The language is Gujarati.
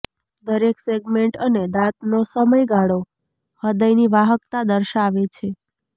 દરેક સેગમેન્ટ અને દાંતનો સમયગાળો હૃદયની વાહકતા દર્શાવે છે